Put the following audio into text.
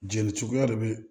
Jeli cogoya de be